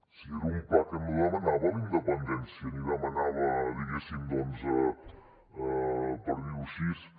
si era un pla que no demanava la independència ni demanava diguéssim per dir ho així